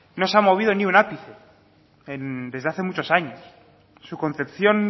no se ha movido ni un ápice desde hace muchos años su concepción